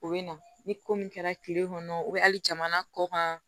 U bɛ na ni ko min kɛra tile kɔnɔ o bɛ hali jamana kɔ kan